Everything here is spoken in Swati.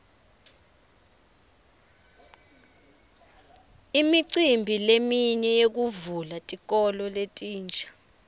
imicimbi leminye yekuvula tikolo letinsha